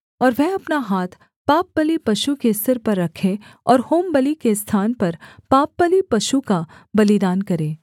और वह अपना हाथ पापबलि पशु के सिर पर रखे और होमबलि के स्थान पर पापबलि पशु का बलिदान करे